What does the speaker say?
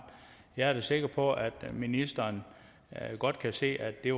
jeg er da sikker på at ministeren godt kan se at det